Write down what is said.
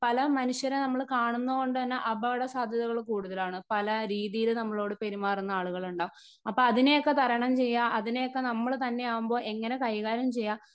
Speaker 1 പല മനുഷ്യരെ നമ്മൾ കാണുന്നകൊണ്ട്തന്നെ അപകടസാധ്യതകൾ കൂടുതലാണ്. പലരീതിയിൽ നമ്മളോട് പെരുമാറുന്ന ആളുകളുണ്ടാവും അപ്പൊ അതിനെയൊക്കെ തരണം ചെയ്യാ അതിനെ ഒക്കെ നമ്മൾ തന്നെ ആകുമ്പോൾ എങ്ങനെ കൈകാര്യം ചെയ്യാ.